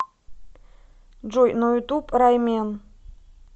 джой на ютуб раймен